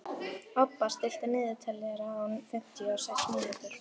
Obba, stilltu niðurteljara á fimmtíu og sex mínútur.